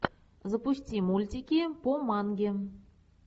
запусти мультики по манге